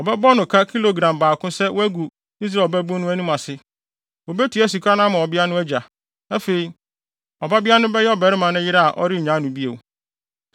Wɔbɛbɔ no ka kilogram baako sɛ wagu Israel ɔbabun no anim ase. Wobetua sika no ama ɔbea no agya. Afei, ɔbabea no bɛyɛ ɔbarima no yere a ɔrennyaa no bio.